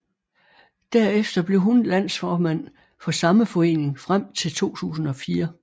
Derefter blev hun landsformand for samme forening frem til 2004